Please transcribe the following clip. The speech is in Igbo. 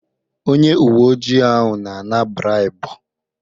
Onye uwe ojii ahụ na-ana braibu.